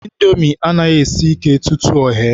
Indomi anaghị esi ike tutu o ghee.